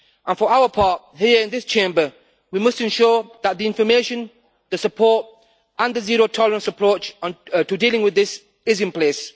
For our part, here in this Chamber, we must ensure that the information, the support and a zero tolerance approach in dealing with this are in place.